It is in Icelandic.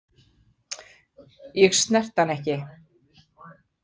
Ég snerti hann ekki.